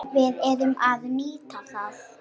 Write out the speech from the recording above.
Við urðum að nýta það.